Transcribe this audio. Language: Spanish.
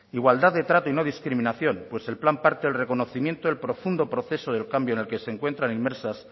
igualdad de trato y no discriminación pues el plan parte del reconocimiento del profundo proceso del cambio en el que se encuentran inmersas